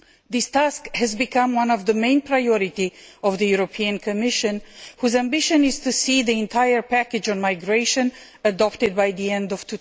This task has become one of the main priorities of the Commission, whose ambition is to see the entire package on migration adopted by the end of